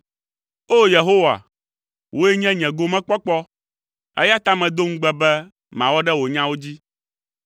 O! Yehowa, wòe nye nye gomekpɔkpɔ, eya ta medo ŋugbe be mawɔ ɖe wò nyawo dzi.